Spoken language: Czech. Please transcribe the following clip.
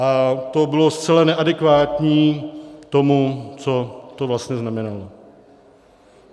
A to bylo zcela neadekvátní tomu, co to vlastně znamenalo.